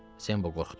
Sembo qorxdu.